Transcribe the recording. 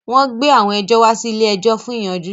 Wọ́n gbé àwọn ẹjọ́ wá sí ilé-ẹjọ̀ fún ìyanjú